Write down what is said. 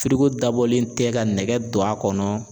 dabɔlen tɛ ka nɛgɛ don a kɔnɔ.